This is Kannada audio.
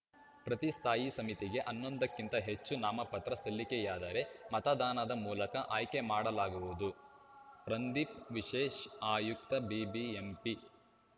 ಪ್ರತಿ ಸ್ಥಾಯಿ ಸಮಿತಿಗೆ ಹನ್ನೊಂದು ಕ್ಕಿಂತ ಹೆಚ್ಚು ನಾಮಪತ್ರ ಸಲ್ಲಿಕೆಯಾದರೆ ಮತದಾನದ ಮೂಲಕ ಆಯ್ಕೆ ಮಾಡಲಾಗುವುದು ರಂದೀಪ್‌ ವಿಶೇಷ ಆಯುಕ್ತ ಬಿಬಿಎಂಪಿ